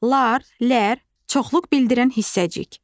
-lar, -lər çoxluq bildirən hissəcik.